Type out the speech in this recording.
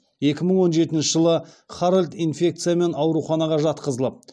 екі мың он жетінші жылы харальд инфекциямен ауруханаға жатқызылып